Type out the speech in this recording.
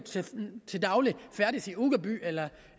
til daglig færdes i uggerby eller